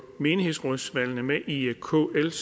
menighedsrådsvalgene med i kls